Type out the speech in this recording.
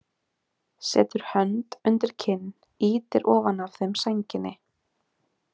Setur hönd undir kinn, ýtir ofan af þeim sænginni.